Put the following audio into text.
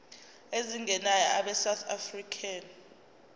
ezingenayo abesouth african